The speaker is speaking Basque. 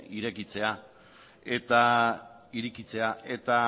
irekitzera eta